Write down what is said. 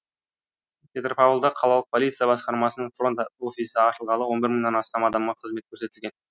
петропавлда қалалық полиция басқармасының фронд офисі ашылғалы он бір мыңнан астам адамға қызмет көрсетілген